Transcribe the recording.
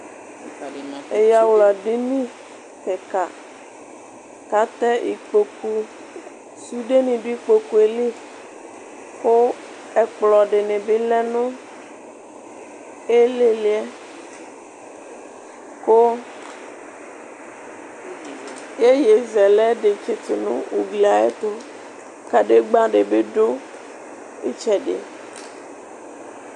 Ɛyawla dini kika kʋ atɛ ikpokʋ sudeni dʋ ikpokʋ yɛli kʋ ɛkplɔ dini bilɛ nʋ ilili yɛ kʋ yeye zɛlɛ dibʋ tsitu nʋ ugli yɛ ayʋ ɛtʋ kadegba dibi dʋ itsɛdi